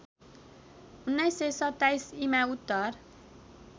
१९२७ ईमा उत्तर